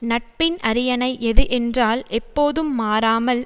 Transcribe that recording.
நட்பின் அரியணை எது என்றால் எப்போதும் மாறாமல்